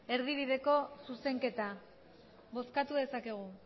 erdibideko zuzenketa bozkatu dezakegu